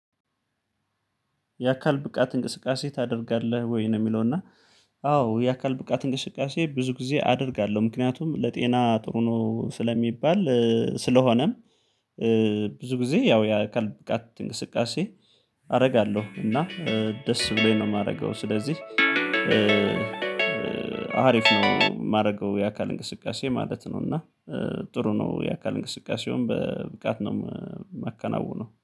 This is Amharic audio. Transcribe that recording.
የአካል ብቃት እንቅስቃሴ ታደርጋለህ ወይ ነው የሚለው? እና አዎ የአካል ብቃት እንቅስቃሴ ብዙ ጊዜ አደርጋለሁ ምክንያቱም ለጤና ጥሩ ነው ስለሚባል። ስለሆነም ብዙ ጊዜ ያው የአካል ብቃት እንቅስቃሴ። አደርጋለሁ እና ደስ ብሎኝ ነው የማደርገው። ስለዚህ አሪፍ ነው የማደርገው የአካል እንቅስቃሴ ማለት ነው። እና ጥሩ ነው የአካል እንቅስቃሴውን በብቃት ነው የማከናውነው